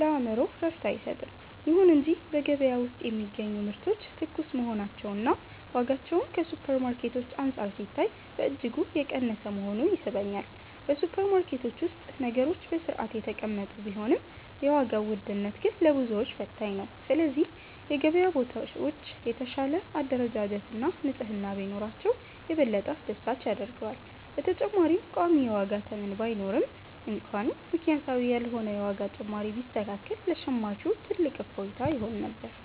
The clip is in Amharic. ለአእምሮ እረፍት አይሰጥም። ይሁን እንጂ በገበያ ውስጥ የሚገኙ ምርቶች ትኩስ መሆናቸውና ዋጋቸውም ከሱፐርማርኬቶች አንፃር ሲታይ በእጅጉ የቀነሰ መሆኑ ይስበኛል። በሱፐርማርኬቶች ውስጥ ነገሮች በሥርዓት የተቀመጡ ቢሆንም፣ የዋጋው ውድነት ግን ለብዙዎች ፈታኝ ነው። ስለዚህ የገበያ ቦታዎች የተሻለ አደረጃጀትና ንጽሕና ቢኖራቸው፣ የበለጠ አስደሳች ያደርገዋል። በተጨማሪም ቋሚ የዋጋ ተመን ባይኖርም እንኳን፣ ምክንያታዊ ያልሆነ የዋጋ ጭማሪ ቢስተካከል ለሸማቹ ትልቅ እፎይታ ይሆን ነበር።